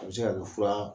A bɛ se ka kɛ fura